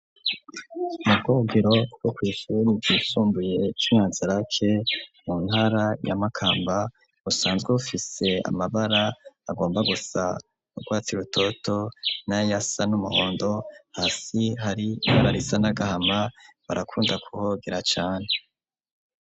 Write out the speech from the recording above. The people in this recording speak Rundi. Mu bwogero bwo kw'ishuri ryisumbuye ry'i nyanza rake mu ntara ya Makamba busanzwe bufise amabara agomba gusa n'urwatsib rutoto nayasa n'umuhondo hasi hari ibara risa n'agahama barakunda kuhogera cane.